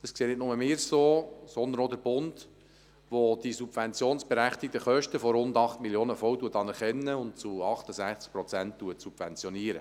Das sehen nicht nur wir so, sondern auch der Bund, der die subventionsberechtigten Kosten von rund 8 Mio. Franken voll anerkennt und zu 68 Prozent subventioniert.